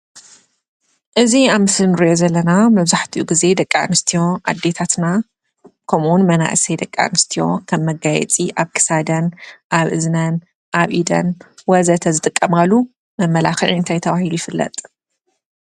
እዚ ኣብ ምስሊ ንሪኦ ዘለና መብዛሕቲኡ ጊዜ ደቂ ኣንስትዮ ኣዴታትና ከምኡውን መናእሰይ ደቂ ኣንስትዮ ከም መጋየፂ ኣብ ክሳደን፣ ኣብ እዝነን፣ ኣብ ኢደን ወዘተ ዝጥቀማሉ መመላኽዒ እንታይ ተባሂሉ ይፍለጥ?